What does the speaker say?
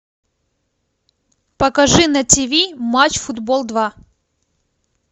покажи на тиви матч футбол два